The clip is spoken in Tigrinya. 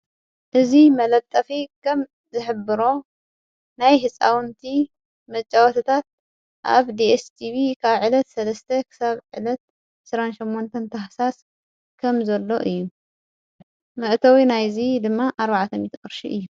እዙ መለጠፊ ከም ዘኅብሮ ናይ ሕፃውንቲ መጨወትታት ኣብ ዲስጢብ ካዕለት ሠለስተ ኽሳብዕለት ሠራንሸመንተን ታህሳስ ከም ዘሎ እዩ መእተዊ ናይዙይ ድማ ዓዓተም ተቕርሺ እዩ።